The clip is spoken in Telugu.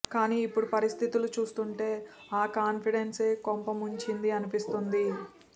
కానీ ఇప్పుడు పరిస్థితులు చూస్తుంటే ఆ కాన్ఫిడెన్సే కొంపముంచింది అనిపిస్తోంది